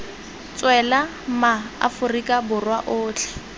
tswela ma aforika borwa otlhe